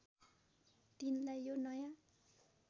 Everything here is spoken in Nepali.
तिनलाई यो नयाँ